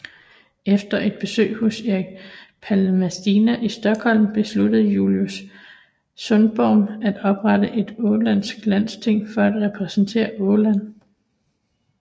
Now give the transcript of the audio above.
Efter et besøg hos Erik Palmstierna i Stockholm besluttede Julius Sundblom at oprette et ålandsk landsting for at repræsentere Åland